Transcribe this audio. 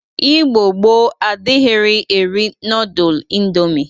Igbo gboo adịrighi eri nọdụl indomi.